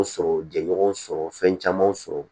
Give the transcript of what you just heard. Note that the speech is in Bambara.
Sɔrɔ jɛɲɔgɔn sɔrɔ fɛn camanw sɔrɔ